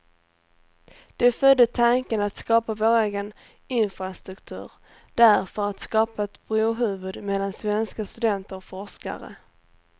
Det födde tanken att skapa vår egen infrastruktur där för att skapa ett brohuvud mellan svenska studenter och forskare.